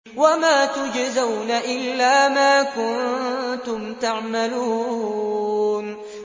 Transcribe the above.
وَمَا تُجْزَوْنَ إِلَّا مَا كُنتُمْ تَعْمَلُونَ